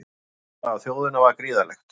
Álagið á þjóðina var gríðarlegt